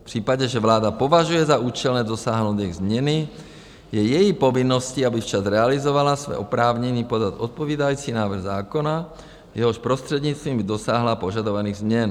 V případě, že vláda považuje za účelné dosáhnout jejich změny, je její povinností, aby včas realizovala své oprávnění podat odpovídající návrh zákona, jehož prostřednictvím by dosáhla požadovaných změn.